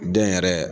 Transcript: Den yɛrɛ